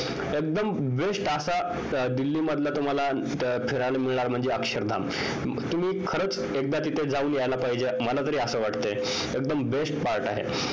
एकदम best असा दिल्लीमध्ये फिरायला मिळणार म्हणजे अक्षरधाम तुम्ही खरंच एकदा तिथे जाऊन यायला पाहिजे मला तरी असं वाटतंय एकदम best part आहे